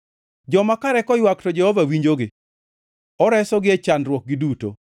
Joma kare koywak to Jehova Nyasaye winjogi; oresogi e chandruokgi duto.